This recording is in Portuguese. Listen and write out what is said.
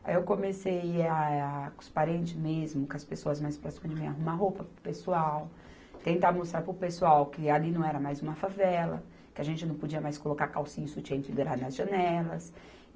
Aí eu comecei, a com os parentes mesmo, com as pessoas mais próximas de mim, arrumar roupa para o pessoal, tentar mostrar para o pessoal que ali não era mais uma favela, que a gente não podia mais colocar calcinha e sutiã pendurado nas janelas.